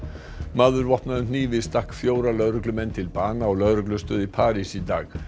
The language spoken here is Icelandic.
maður vopnaður hnífi stakk fjóra lögreglumenn til bana á lögreglustöð í París í dag